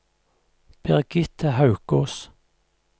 Birgitte Haukås